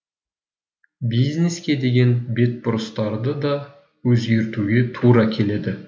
бизнеске деген бетбұрыстарды да өзгертуге тура келеді